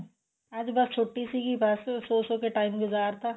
ਅੱਜ ਬੱਸ ਛੁੱਟੀ ਸੀਗੀ ਬੱਸ ਸੋ ਸੋ ਕੇ time ਗੁਜਾਰਤਾ